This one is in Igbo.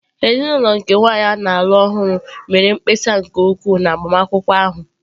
Ezinụlọ nke nwanyị a na-alụ ọhụrụ mere mkpesa nke ukwuu na agbamakwụkwọ ahụ.